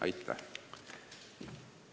Aitäh!